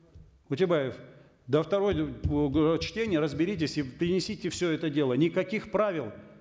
утебаев до второй чтения разберитесь и принесите все это дело никаких правил